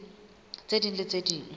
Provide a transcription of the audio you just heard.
tse ding le tse ding